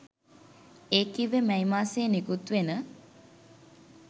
ඒ කිව්වේ මැයි මාසයේ නිකුත්වෙන